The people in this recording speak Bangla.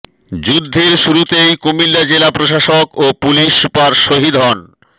যুদ্ধের শুরুতেই কুমিল্লা জেলা প্রশাসক ও পুলিশ সুপার শহীদ হন